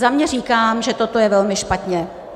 Za mě říkám, že toto je velmi špatně.